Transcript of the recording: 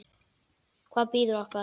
Hvað bíður okkar?